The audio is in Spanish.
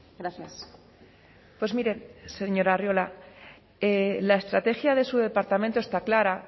gracias pues mire señor arriola la estrategia de su departamento está clara